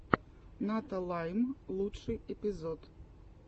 ната лайм лучший эпизод